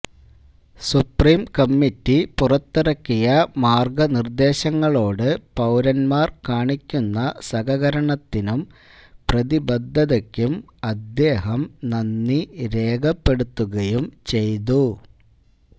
supreme committee പുറത്തിറക്കിയ മാര്ഗനിര്ദേശങ്ങളോട് പൌരന്മാര് കാണിക്കുന്ന സഹകരണത്തിനും പ്രതിബദ്ധതക്കും അദ്ദേഹം നന്ദി രേഖപ്പെടുത്തുകയും ചെയ്തു